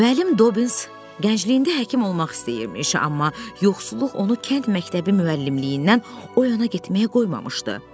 Müəllim Dobbins gəncliyində həkim olmaq istəyirmiş, amma yoxsulluq onu kənd məktəbi müəllimliyindən o yana getməyə qoymamışdı.